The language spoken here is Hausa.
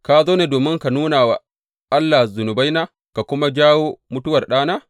Ka zo ne domin ka nuna wa Allah zunubaina, ka kuma jawo mutuwar ɗana?